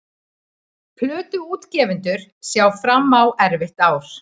Plötuútgefendur sjá fram á erfitt ár